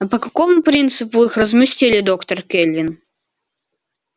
а по какому принципу их разместили доктор кэлвин